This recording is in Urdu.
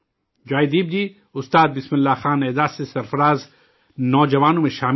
جوائے دیپ جی، استاد بسم اللہ خاں ایوارڈ سے سرفراز کیے گئے نوجوانوں میں شامل ہیں